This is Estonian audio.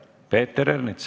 Peeter Ernits.